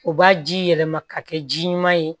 U b'a ji yɛlɛma ka kɛ ji ɲuman ye